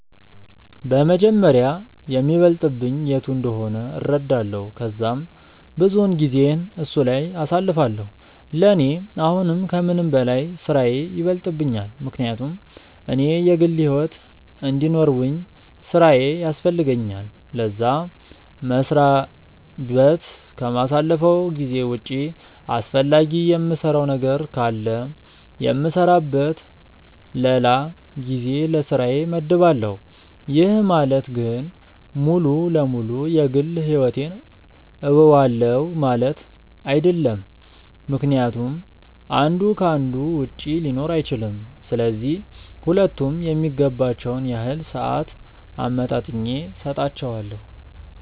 በመጀመሪያ የሚበልጥብኝ የቱ እንደሆነ እረዳለው ከዛም ብዙውን ጊዜየን እሱ ላይ አሳልፋለው፤ ለኔ አሁን ከምንም በላይ ስራዬ ይበልጥብኛል ምክንያቱም እኔ የግል ሕይወት እንዲኖርውኝ ስራዬ ያስፈልገኛል ለዛ፤ መስሪያ በት ከማሳልፈው ጊዜ ውጪ አስፈላጊ የምሰራው ነገር ካለ የምሰራበት ለላ ጊዜ ለስራዬ መድባለው፤ ይህ ማለት ግን ሙሉ ለ ሙሉ የ ግል ሕይወቴን ትውዋለው ማለት አይድለም ምክንያቱም አንዱ ከ አንዱ ውጪ ሊኖር አይችልም፤ ስለዚህ ሁለቱም የሚገባቸውን ያህል ሰአት አመጣጥኜ ሰጣቸዋለው።